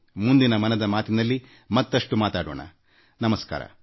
ಮುಂದಿನ ಮನದಾಳದ ಮಾತಿನ ಸಂಚಿಕೆಯಲ್ಲಿ ನನ್ನ ಅನಿಸಿಕೆಗಳನ್ನು ನಿಮ್ಮೊಂದಿಗೆ ಮತ್ತೊಮ್ಮೆ ಹಂಚಿಕೊಳ್ಳುತ್ತೇನೆ